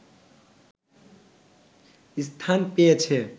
স্থান পেয়েছে